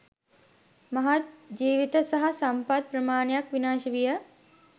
මහත් ජීවිත සහ සම්පත් ප්‍රමාණයක් විනාශ විය